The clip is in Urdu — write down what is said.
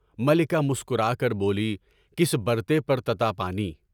ملکہ مسکرا کر بولی، کس برتے پر تَتّا پانی؟